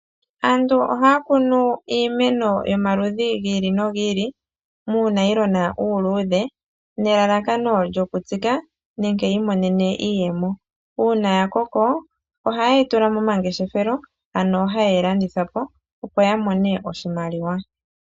Aantu ohaya kunu iimeno yomaludhi gi ili nogi ili muunayilona uuludhe nelalakano lyokutsika nenge yi imonene mo iiyemo. uuna ya koko ohaye yi tula momangeshefelo, ano haye yi landitha po, opo ya mone oshimaliwa.